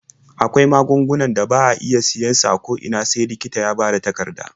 Akwai magungunan da ba a iya siyan su a ko ina sai likita ya bada takarda.